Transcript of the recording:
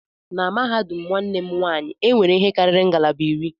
Na mahadum nwanne m nwanyị, e nwere ihe karịrị ngalaba iri